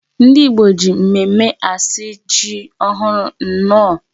Ndị Igbo ji mmemmé asị ji ohụrụ nnọọ.